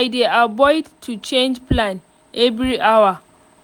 i dey avoid to change plan every hour